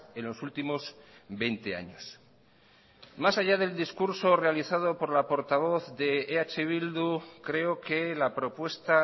en los últimos veinte años más allá del discurso realizado por la portavoz de eh bildu creo que la propuesta